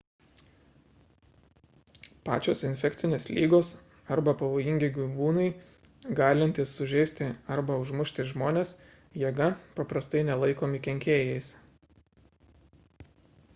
pačios infekcinės lygos arba pavojingi gyvūnai galintys sužeisti arba užmušti žmones jėga paprastai nelaikomi kenkėjais